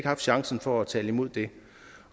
haft chancen for at tale imod det